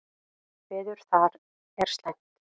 Veður þar er slæmt.